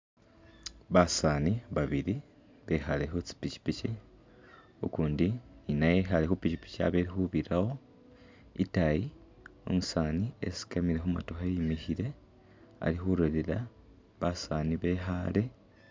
Basani babili bekhale khu tsi’pikyipikyi ukundi ninaye ikhale khu pikyipikyi abe ikhubirawo itayi umusani esikamile khumotoka iyimikhile ali khulolela basani bekhale.